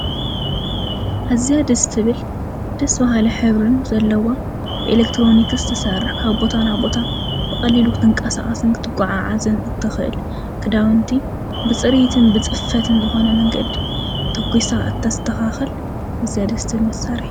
ኣዝያ ደስ ትብል ደስ ባሃሊ ሕብሪን ዘለዋ ብኤሌክትሮኒከስ ትሰርሕ ካብ ቦታ ናብ ቦታ ብቀሊሉ ክትቀሳቀስን ክትጓዓዓዝ እትክእል ክዳውንቲ ብፅሬትን ብፅፈትን ዝኮነ መንገዲ ቶኪሳ እተሰተካክል ኣዝያ ደስ ትብል መሳርሒ እያ።